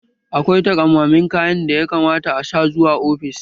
Akwai taƙammamen kayan da ya kamata a sa zuwa ofis